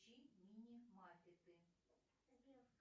включи мини маппеты